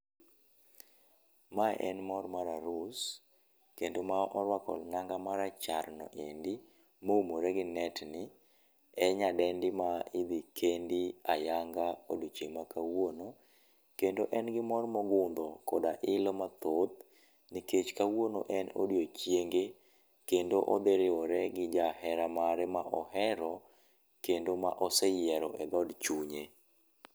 Ma en mor mar arus, kendo ma orwako nanga ma rachar no endi, ma oumore gi net ni en nyadendi ma idhi kendi ayanga e odiechieng ma kawuono ,kendo en gi mor ma ogundho koda ilo mathoth nikech kawuono en odiechienge kendo odhi riwore gi jahera mare ma ohero kendo ma ose yiero e dhod chunye.